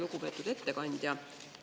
Lugupeetud ettekandja!